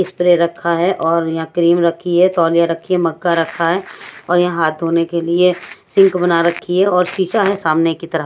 Spray रखा है और यहां क्रीम रखी है तोलिया रखी है मक्का रखा है और यहां हाथ होने के लिए सिंक बना रखी है और शिशा है सामने की तरफ।